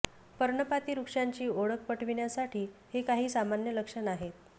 पर्णपाती वृक्षांची ओळख पटविण्यासाठी हे काही सामान्य लक्षण आहेत